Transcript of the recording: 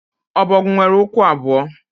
ọbọgwụ nwere ụkwụ abụọ